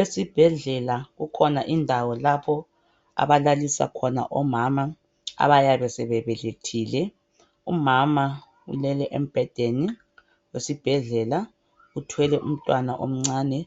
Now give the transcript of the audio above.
Esibhedlela kukhona indawo lapho abalalisa khona omama abayabe sebebelethile. Umama ulele embhedeni esibhedlela uthwele umntwana omncane